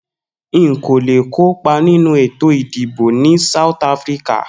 Nkò le kópa nínú ètò ìdìbò ni South Afrika